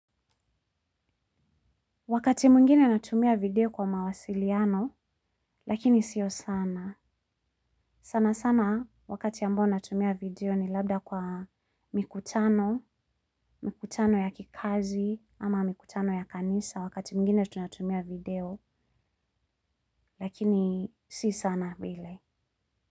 Wakati mwingine natumia video kwa mawasiliano, lakini sio sana. Sana sana, wakati ambao natumia video ni labda kwa mikutano, mikutano ya kikazi, ama mikutano ya kanisa, wakati mwingine tunatumia video, lakini si sana bile.